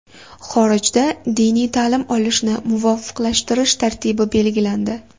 Xorijda diniy ta’lim olishni muvofiqlashtirish tartibi belgilandi.